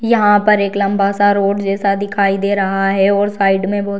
यहाँ पर एक लम्बा सा रोड जैसा दिखाई दे रहा है और साइड में बहुत --